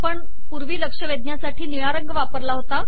आपण पूर्वी लक्ष वेधण्यासाठी निळा रंग वापरला आहे